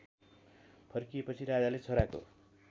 फर्किएपछि राजाले छोराको